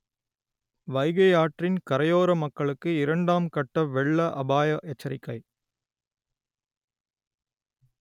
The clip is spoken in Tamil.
வைகை ஆற்றின் கரையோற மக்களுக்கு இரண்டாம் கட்ட வெள்ள அபாய எச்சரிக்கை